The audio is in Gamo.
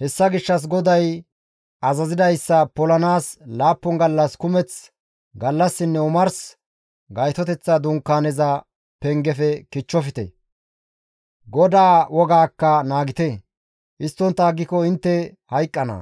Hessa gishshas GODAY azazidayssa polanaas laappun gallas kumeth gallassinne omars Gaytoteththa Dunkaaneza pengefe kichchofte; GODAA wogaakka naagite; histtontta aggiko intte hayqqana;